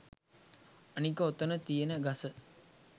අනික ඔතන තියෙන ගස